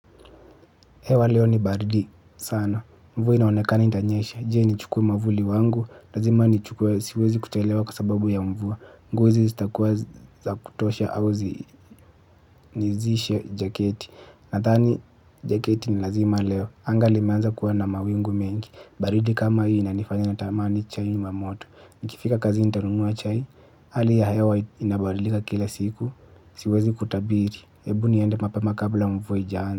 Hewa leo ni baridi. Sana. Mvua inaonekana itanyesha. Jee? Nichukue mwavuli wangu. Lazima nichukue siwezi kuchelewa kwa sababu ya mvua. Nguo hizi zitakuwa za kutosha au nivishe jaketi. Nadhani jaketi ni lazima leo. Anga limeanza kuwa na mawingu mengi. Baridi kama hii na inanifanya natamani chai la moto. Nikifika kazini nitanunua chai hali ya hewa inabadilika kila siku. Siwezi kutabiri. Hebu niende mapema kabla mvua haijaanza.